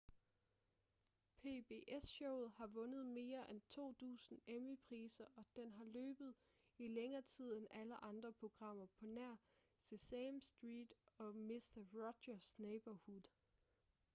pbs-showet har vundet mere end to dusin emmy-priser og den har løbet i længere tid end alle andre programmer på nær sesame street og mister rogers' neighborhood